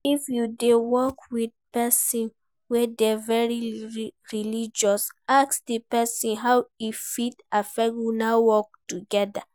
If you de work with persin wey de very religious ask di persin how e fit affect una work together